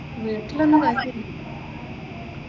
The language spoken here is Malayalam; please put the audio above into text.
വീട്ടിലൊന്നും കുഴപ്പൊ